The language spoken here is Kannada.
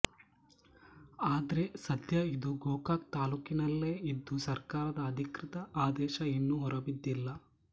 ಆದ್ರೆ ಸದ್ಯ ಇದು ಗೋಕಾಕ್್ತಾಲೂಕಿನಲ್ಲೇ ಇದ್ದು ಸರ್ಕಾರದ ಅಧಿಕೃತ ಆದೇಶ ಇನ್ನು ಹೊರಬಿದ್ದಿಲ್ಲ